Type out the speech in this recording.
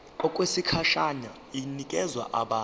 okwesikhashana inikezwa abantu